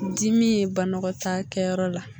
Dimi ye banɔgɔtaakɛyɔrɔ la